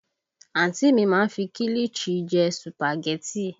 Àǹtí mi má ń fi kilichi jẹ sùpàgẹ́tì